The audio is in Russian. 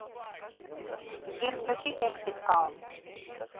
сбер включи эксит калм